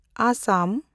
Assam